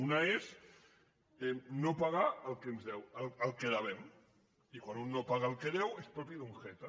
una és no pagar el que devem i quan un no paga el que deu és propi d’un jeta